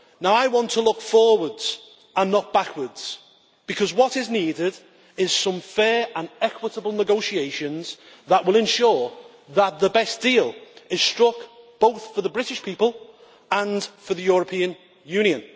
I want to look forwards and not backwards, because what is needed is some fair and equitable negotiations that will ensure that the best deal is struck, both for the British people and for the European Union.